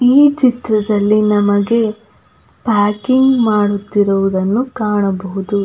ಈ ಚಿತ್ರದಲ್ಲಿ ನಮಗೆ ಪ್ಯಾಕಿಂಗ್ ಮಾಡುತ್ತಿರುವುದನ್ನು ಕಾಣಬಹುದು.